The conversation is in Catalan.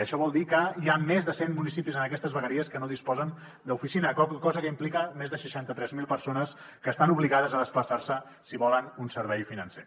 això vol dir que hi ha més de cent municipis en aquestes vegueries que no disposen d’oficina cosa que implica que més de seixanta tres mil persones estan obligades a desplaçar se si volen un servei financer